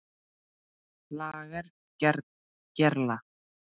LAGER GERLA